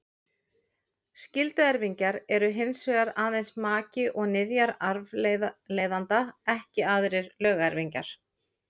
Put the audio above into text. Skylduerfingjar eru hins vegar aðeins maki og niðjar arfleifanda, ekki aðrir lögerfingjar.